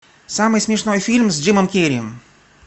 самый смешной фильм с джимом керри